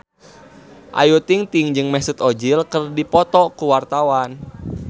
Ayu Ting-ting jeung Mesut Ozil keur dipoto ku wartawan